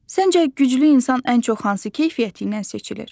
Səncə güclü insan ən çox hansı keyfiyyəti ilə seçilir?